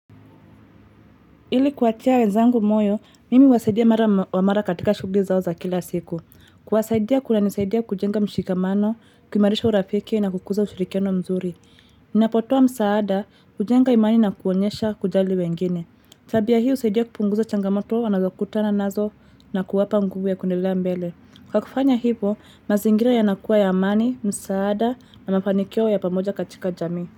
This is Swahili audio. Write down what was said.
Ili kuwatia wenzangu moyo, mimi wasaidia mara wa mara katika shugli zao za kila siku. Kuwasaidia kuna nisaidia kujenga mshikamano, kumarisha urafikia na kukuza ushirikiano mzuri. Ninapotoa msaada, kujenga imani na kuonyesha kujali wengine. Tabia hii usaidia kupunguza changamoto, wanazokutana nazo na kuwapa ngugu ya kundelea mbele. Kwa kufanya hivo, mazingira yanakuwa ya amani, msaada na mafanikio ya pamoja katika jami.